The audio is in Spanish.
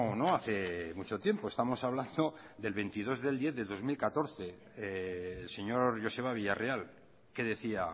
no hace mucho tiempo estamos hablando del veintidós diez dos mil catorce el señor joseba villareal que decía